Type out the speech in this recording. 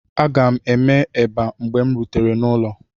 Aga m eme eba mgbe m rutere n'ụlọ.